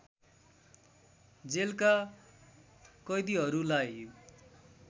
जेलका कैदीहरूलाई